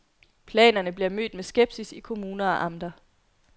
Planerne bliver mødt med skepsis i kommuner og amter.